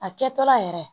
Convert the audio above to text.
A kɛtɔla yɛrɛ